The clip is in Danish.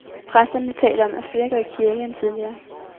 Præsterne taler om, at flere går i kirke end tidligere.